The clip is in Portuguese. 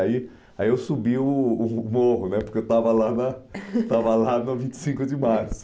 Aí Ai eu subi o o morro né porque eu estava lá estava lá na vinte e cinco de março.